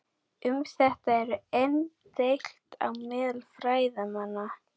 Um þetta eru enn deilt á meðal fræðimanna.